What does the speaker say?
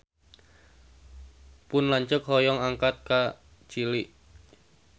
Pun lanceuk hoyong angkat ka Chili